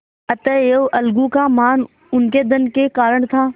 अतएव अलगू का मान उनके धन के कारण था